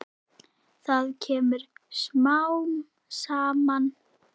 Það kemur smám saman.